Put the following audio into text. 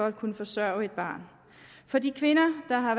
at kunne forsørge et barn for de kvinder der har